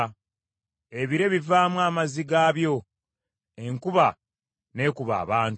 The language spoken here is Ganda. ebire bivaamu amazzi gaabyo, enkuba n’ekuba abantu.